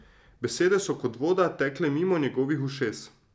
Besede so kot voda tekle mimo njegovih ušes.